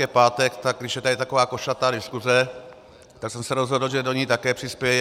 Je pátek, tak když je tady taková košatá diskuse, tak jsem se rozhodl, že do ní také přispěji.